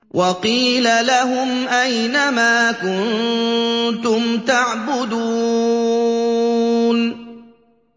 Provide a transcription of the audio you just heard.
وَقِيلَ لَهُمْ أَيْنَ مَا كُنتُمْ تَعْبُدُونَ